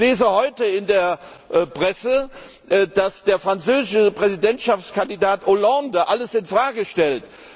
Ich lese heute in der Presse, dass der französische Präsidentschaftskandidat Hollande alles in Frage stellt.